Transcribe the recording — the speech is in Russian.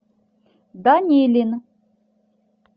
данилин